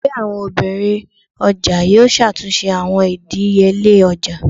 Ẹgbẹ àwọn obìnrin ọjà yóò ṣàtúnṣe àwọn ìdíyelé ọjà.